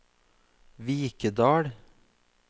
Vikedal